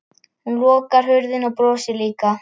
Hún lokar hurðinni og brosir líka.